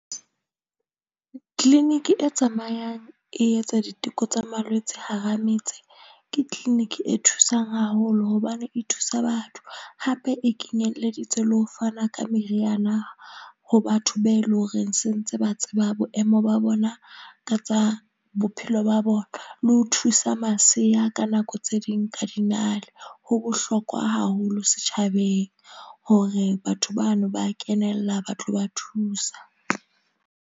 Clinic e tsamayang e etsa diteko tsa malwetse hara metse ke clinic e thusang haholo hobane e thusa batho. Hape e kenyeleditse le ho fana ka meriana ho batho, be eleng hore se ntse ba tseba boemo ba bona ka tsa bophelo ba bona. Le ho thusa masea ka nako tse ding ka dinale. Ho bohlokwa haholo setjhabeng, hore batho bano ba kenella ba tlo ba thusa.